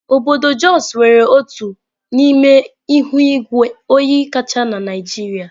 Obodo Jos nwere otu n'ime ihu igwe oyi kacha na Naịjirịa.